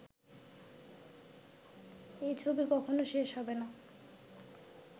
এ ছবি কখনো শেষ হবে না